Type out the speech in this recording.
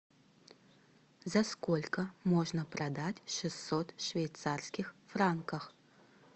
за сколько можно продать шестьсот швейцарских франков